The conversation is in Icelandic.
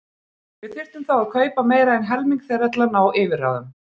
Við þyrftum þá að kaupa meira en helming þeirra til að ná yfirráðum.